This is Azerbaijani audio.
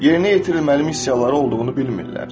Yerini yetirilməli missiyaları olduğunu bilmirlər.